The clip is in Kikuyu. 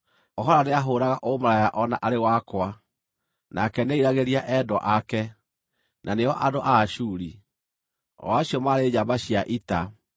“Ohola nĩahũũraga ũmaraya o na arĩ wakwa; nake nĩeriragĩria endwa ake, na nĩo andũ a Ashuri, o acio maarĩ njamba cia ita